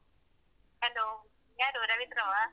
Hello ಯಾರು ರವೀಂದ್ರವಾ?